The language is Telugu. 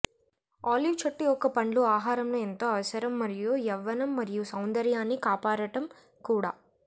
ఆలివ్ చెట్టు యొక్క పండ్లు ఆహారంలో ఎంతో అవసరం మరియు యవ్వనం మరియు సౌందర్యాన్ని కాపాడటం కూడా